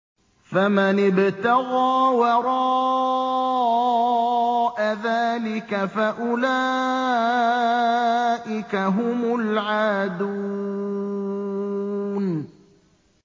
فَمَنِ ابْتَغَىٰ وَرَاءَ ذَٰلِكَ فَأُولَٰئِكَ هُمُ الْعَادُونَ